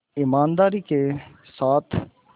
ईमानदारी के साथ